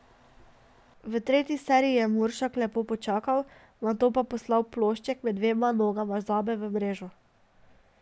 V tretji seriji je Muršak lepo počakal, nato pa poslal plošček med nogama Zabe v mrežo.